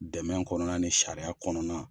Dɛmɛ kɔnɔna ni sariya kɔnɔna